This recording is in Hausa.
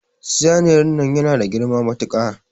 Saniyar nan yana da girma matuka.